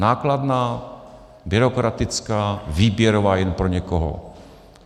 Nákladná, byrokratická, výběrová jen pro někoho.